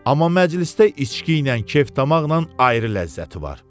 Amma məclisdə içkiylə kef-damaqla ayrı ləzzəti var.